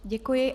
Děkuji.